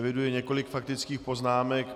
Eviduji několik faktických poznámek.